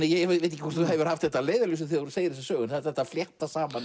ég veit ekki hvort þú hefur haft þetta að leiðarljósi þegar þú segir þessa sögu en þetta að flétta saman